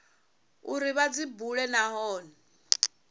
uri vha dzi bule nahone